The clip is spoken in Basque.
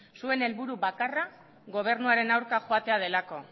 zuen helburu bakarra gobernuaren aurka joatea delako